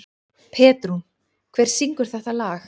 Petrún, hver syngur þetta lag?